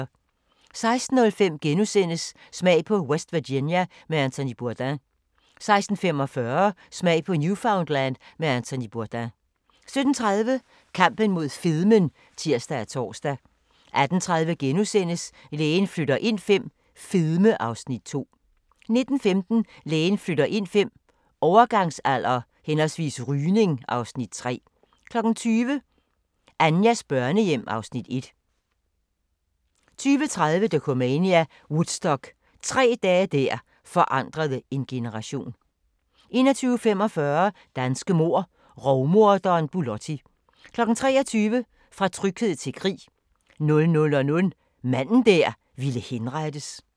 16:05: Smag på West Virginia med Anthony Bourdain * 16:45: Smag på Newfoundland med Anthony Bourdain 17:30: Kampen mod fedmen (tir og tor) 18:30: Lægen flytter ind V - fedme (Afs. 2)* 19:15: Lægen flytter ind V – Overgangsalder/rygning (Afs. 3) 20:00: Anjas børnehjem (Afs. 1) 20:30: Dokumania: Woodstock – tre dage der forandrede en generation 21:45: Danske mord: Rovmorderen Bulotti 23:00: Fra tryghed til krig 00:00: Manden der ville henrettes *